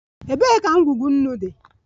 Ebee ka ngwugwu nnu dị?